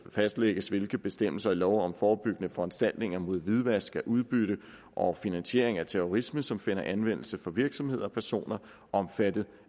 fastlægges hvilke bestemmelser i lov om forebyggende foranstaltninger mod hvidvask af udbytte og finansiering af terrorisme som finder anvendelse for virksomheder og personer omfattet